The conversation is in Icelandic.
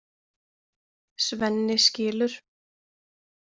Svenni skilur.